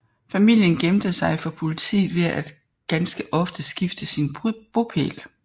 Familien gemte sig for politiet ved at ganske ofte skifte sin bopæl